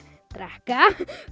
drekka